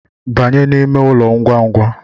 Banye n’ime ụlọ ngwangwa